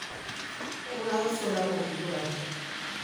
Eng'ae oisula ina kiguran?